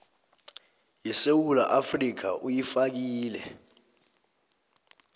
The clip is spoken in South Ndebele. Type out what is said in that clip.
yesewula afrika uyifakile